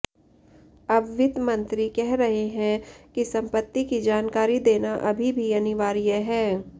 अब वित्त मंत्री कह रहे हैं कि संपत्ति की जानकारी देना अभी भी अनिवार्य है